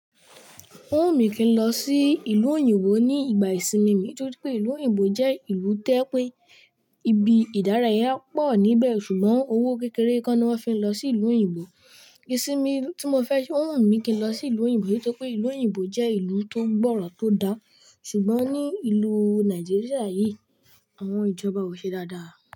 Ó wùn mí kín lọ sí ìlú òyìnbó ní ìgbà ìsinmi mi nítorí pé ìlú òyìnbó jẹ́ ìlú tó yẹ pé. Ibi ìdárayá pọ̀ níbẹ̀ ṣùgbọ́n owó kékeré kọ́ ni wọ́n fi ń lọ sí ìlú òyìnbó. Ìsinmi tí mo fẹ́ ṣe ó wùn mí kí n lọ sí ìlú òyìnbó nítorí pé ìlú òyìnbó jẹ́ ìlú tó gbọ́rọ̀ tó dá ṣùgbọ́n ní ìlú Nàìjíríà yìí àwọn ìjọba ò ṣe dáadáa.